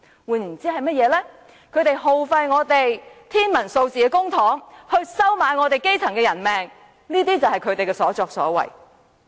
換言之，他們耗費天文數字的公帑，收買基層的人命——這些就是他們的所作所為。